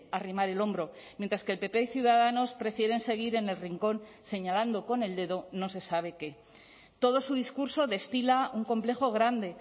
arrimar el hombro mientras que el pp y ciudadanos prefieren seguir en el rincón señalando con el dedo no se sabe qué todo su discurso destila un complejo grande